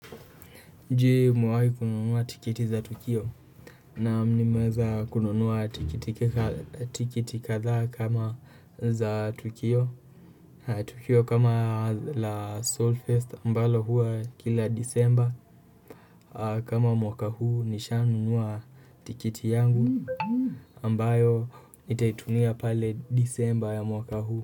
Je umehai kununua tikiti za Tukio. Naam nimeweza kununua tikiti kadha kama za Tukio. Tukio kama la Solfest ambalo hua kila disemba kama mwaka huu nishanunua tikiti yangu. Ambayo nitaitumia pale disemba ya mwaka huu.